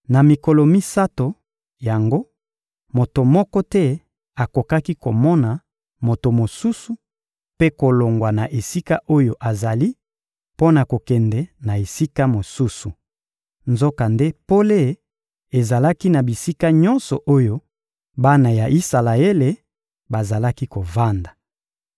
Na mikolo misato yango, moto moko te akokaki komona moto mosusu mpe kolongwa na esika oyo azali mpo na kokende na esika mosusu. Nzokande pole ezalaki na bisika nyonso oyo bana ya Isalaele bazalaki kovanda.